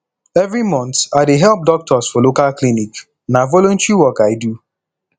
every month i dey help doctors for local clinic na voluntary work i do